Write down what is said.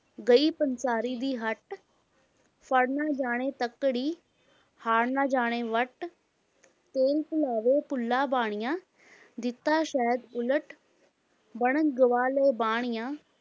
ਗਈ ਪੰਸਾਰੀ ਦੀ ਹੱਟ, ਫੜ੍ਹ ਨਾ ਜਾਣੇ ਤੱਕੜੀ, ਹਾੜ ਨਾ ਜਾਣੇ ਵੱਟ, ਤੇਲ ਭੁਲਾਵੇਂ ਭੁੱਲਾ ਬਾਣੀਆ, ਦਿੱਤਾ ਸ਼ਹਿਦ ਉਲਟ, ਬਣਜ ਗਵਾ ਲਏ ਬਾਣੀਆਂ,